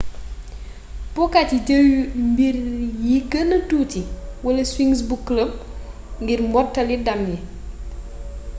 pookat yi jeel mbir yi geenee tuuti wala swings bu club ngir mottali ndam yi